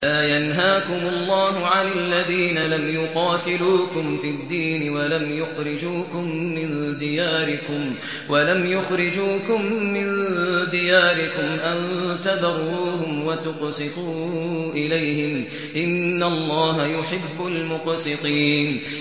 لَّا يَنْهَاكُمُ اللَّهُ عَنِ الَّذِينَ لَمْ يُقَاتِلُوكُمْ فِي الدِّينِ وَلَمْ يُخْرِجُوكُم مِّن دِيَارِكُمْ أَن تَبَرُّوهُمْ وَتُقْسِطُوا إِلَيْهِمْ ۚ إِنَّ اللَّهَ يُحِبُّ الْمُقْسِطِينَ